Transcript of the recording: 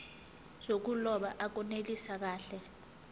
zokuloba akunelisi kahle